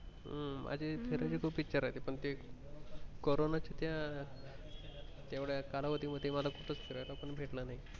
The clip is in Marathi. हम्म माझी फिरायची खूप इच्छा राहायची पण ते corona च्या त्या तेवढ्या कालावधी मध्ये मला कुठे फिरायला पण भेटलं नाही.